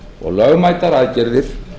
og lögmætar aðgerðir